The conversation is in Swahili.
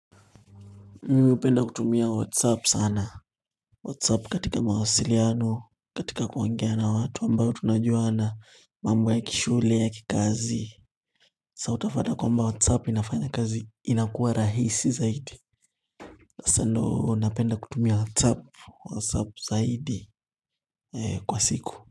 Mimi hupenda kutumia whatsapp sana. Whatsapp katika mawasiliano. Katika kuogea na watu ambao tunajuana mambo ya kishule, ya kikazi Sa utafata kwamba whatsApp inafanya kazi inakuwa rahisi zaidi. Hasa ndoo napenda kutumia whatsApp zaidi eeh kwa siku.